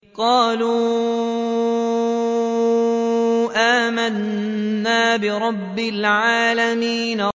قَالُوا آمَنَّا بِرَبِّ الْعَالَمِينَ